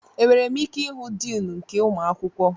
Enwere m ike ịhụ diin nke ụmụ akwụkwọ?